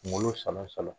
Kungolo sɔngo salon